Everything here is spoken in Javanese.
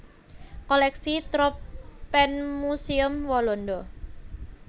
Kolèksi Tropenmuseum Walanda